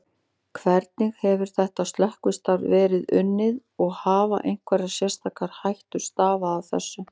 Hvernig hefur þetta slökkvistarf verið unnið og hafa einhverjar sérstakar hættur stafað af þessu?